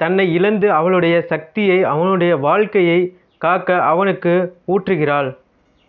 தன்னை இழந்து அவளுடைய சக்தியை அவனுடைய வாழ்க்கையை காக்க அவனுக்கு ஊற்றுகிறாள்